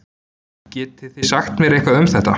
Getið þið sagt mér eitthvað um þetta?